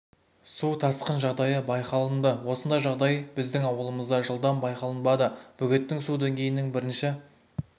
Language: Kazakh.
су тасқын жағдайы байқаланды осындай жағдай біздің ауылымызда жылдан байқалынбады бөгеттің су деңгейінің бірінші